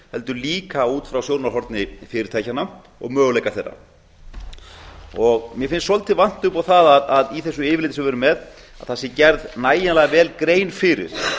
heldur líka út frá sjónarhorni fyrirtækjanna og möguleika þeirra mér finnst svolítið vanta upp á það að í þessu yfirliti sem við erum með að það sé gerð nægjanlega vel grein fyrir